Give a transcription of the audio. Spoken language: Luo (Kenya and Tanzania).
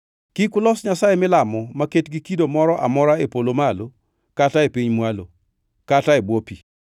Kik ulos nyasaye milamo maket gi kido moro amora e polo malo kata e piny mwalo, kata e bwo pi.